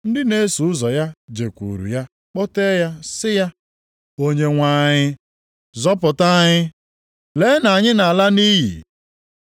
Ndị na-eso ụzọ ya jekwuuru ya, kpọtee ya, sị ya, “Onyenwe anyị, zọpụta anyị! Lee, na anyị nʼala nʼiyi.”